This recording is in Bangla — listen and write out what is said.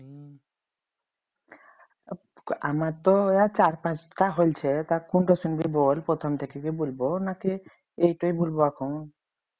আমার তো অইয়া চার পাঁচটা হলছে তা কোনটা শুনবি বল প্রথম থেকে কি বলবো নাকি এই টুই বলব এখন